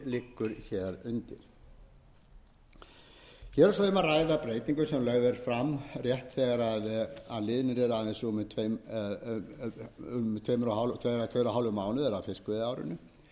liggur undir hér er svo um að ræða breytingu sem lögð er fram rétt þegar að liðnir eru aðeins rúmir tveir mánuðir af fiskveiðiárinu sem auðvitað er aldrei